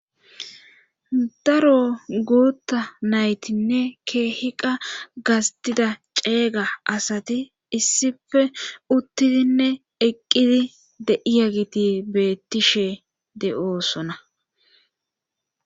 daro gurutta naytinne keehiqa gastida ceeyga asati issife uttidinne eqqidi deiyagiti beettishe de7oosona